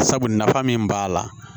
Sabu nafa min b'a la